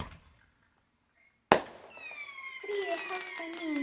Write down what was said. Stríðið hófst á ný.